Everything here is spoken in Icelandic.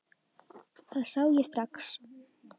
Það sá ég strax.